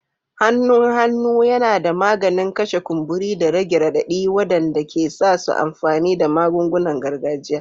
Hannun hannu yana da maganin kashe kumburi da rage radadi wanda ke sa su amfani da magungunan gargajiya.